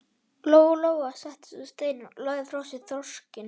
Lóa Lóa settist á stein og lagði frá sér þorskinn.